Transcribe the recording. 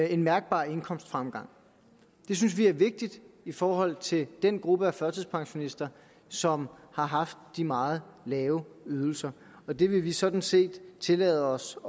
en mærkbar indkomstfremgang det synes vi er vigtigt i forhold til den gruppe af førtidspensionister som har haft de meget lave ydelser og det vil vi sådan set tillade os